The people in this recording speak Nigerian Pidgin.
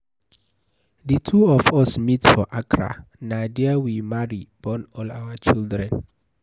The two of us meet for Accra, na there we marry, born all our children.